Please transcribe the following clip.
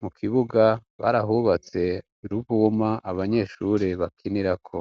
mu kibuga barahubatse ruumu abanyeshure bakinirako.